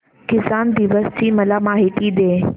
किसान दिवस ची मला माहिती दे